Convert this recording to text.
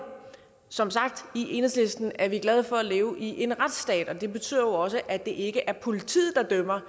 som sagt i enhedslisten er vi glade for at leve i en retsstat og det betyder jo også at det ikke er politiet der dømmer